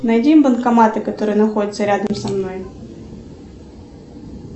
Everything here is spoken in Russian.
найди банкоматы которые находятся рядом со мной